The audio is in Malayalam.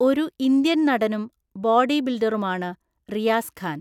ഒരു ഇന്ത്യൻ നടനും ബോഡി ബിൽഡറുമാണ് റിയാസ് ഖാൻ.